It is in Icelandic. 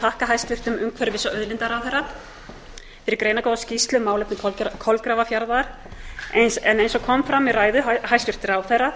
þakka hæstvirtum umhverfis og auðlindaráðherra fyrir greinargóða skýrslu um málefni kolgrafafjarðar en eins og kom fram í ræðu hæstvirts ráðherra